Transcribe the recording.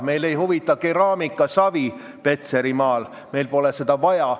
Meid ei huvita keraamikasavi Petserimaal, meil ei ole seda vaja.